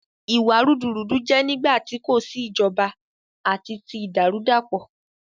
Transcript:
Ìwà rúdurùdu jẹ nígbàtí kò sí ìjọba àti tí ìdàrúdàpọ̀